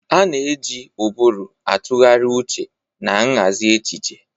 A na-eji ụbụrụ atụgharị uche na nhazi echiche.